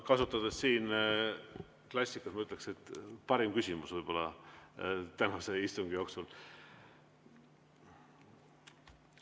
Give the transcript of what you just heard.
Kasutades klassikute sõnu, ma ütleksin, et võib-olla parim küsimus tänase istungi jooksul.